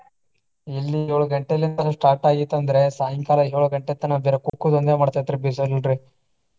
ಇಲ್ಲೂ ಯೋಳ್ ಗಂಟೆಲಿಂತನ start ಆಗಿತ್ತ ಅಂದ್ರ ಸಾಯಂಕಾಲ ಯೋಳ್ ಗಂಟೆ ತನಾ ಬರೆ ಕುಕ್ಕುದ ಒಂದೇ ಮಾಡ್ತೇತ್ರಿ ಬಿಸಲ್ರಿ.